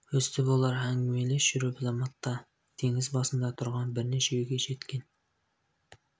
өстіп олар әңгімелес жүріп заматта теңіз басында тұрған бірнеше үйге жеткен